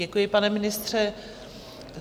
Děkuji, pane ministře.